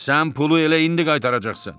Sən pulu elə indi qaytaracaqsan.